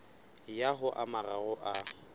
ya ho a mararo a